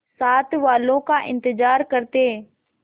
साथ वालों का इंतजार करते